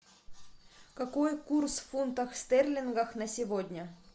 какой курс в фунтах стерлингах на сегодня